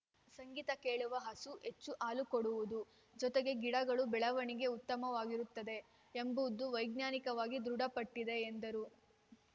ಸಂಗೀತ ಕೇಳುವ ಹಸು ಹೆಚ್ಚು ಹಾಲು ಕೊಡುವುದು ಜೊತೆಗೆ ಗಿಡಗಳ ಬೆಳವಣಿಗೆ ಉತ್ತಮವಾಗಿರುತ್ತವೆ ಎಂಬುದು ವೈಜ್ಞಾನಿಕವಾಗಿ ದೃಢಪಟ್ಟಿದೆ ಎಂದರು